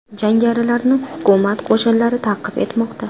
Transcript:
Jangarilarni hukumat qo‘shinlari ta’qib etmoqda.